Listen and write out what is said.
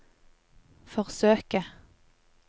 forsøke